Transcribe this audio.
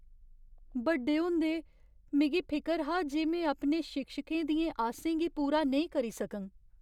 बड्डे होंदे, मिगी फिकर हा जे में अपने शिक्षकें दियें आसें गी पूरा नेईं करी सकङ।